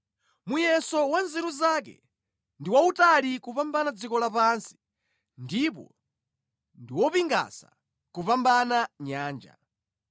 Muyeso wa nzeru zake ndi wautali kupambana dziko lapansi ndipo ndi wopingasa kupambana nyanja.